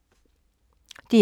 DR1